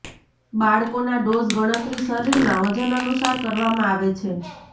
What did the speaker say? બાળકોના ડોઝ ગણતરી શરીરના વજન અનુસાર કરવામાં આવે છે